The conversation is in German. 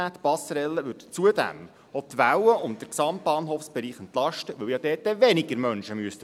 Die Passerelle würde zudem die Welle und den gesamten Bahnhofsbereich entlasten, da dort ja dann weniger Menschen durchmüssten.